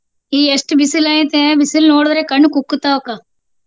ಈ ಎಷ್ಟು ಬಿಸಲ್ ಐತಿ ಬಿಸಲ್ ನೋಡಿದ್ರೆ ಕಣ್ಣ ಕುಕ್ಕತಾವ ಅಕ್ಕ.